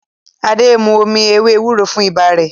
Ade nmú omí ewé ewúro fún ibà Re